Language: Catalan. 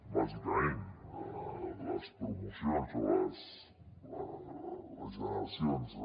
bàsicament les promocions o les generacions de